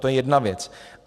To je jedna věc.